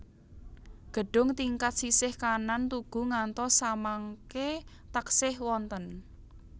Gedhung tingkat sisih kanan tugu ngantos samangke taksih wonten